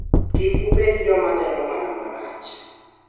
Kik ubed jjoma neno mana marach.'